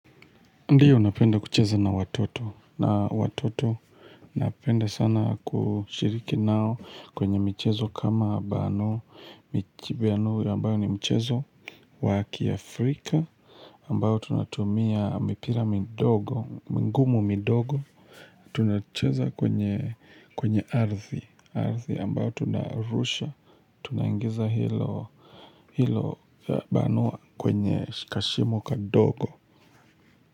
Ndiyo napenda kucheza na watoto, na watoto napenda sana kushiriki nao kwenye michezo kama bano, michuano ambayo ni mchezo, wa kiafrika, ambayo tunatumia mipira midogo, mingumu midogo, tunacheza kwenye, kwenye ardhi, ardhi ambayo tunarusha, tunaingiza hilo, hilo ya bano kwenye kashimo kadogo.